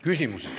Küsimused.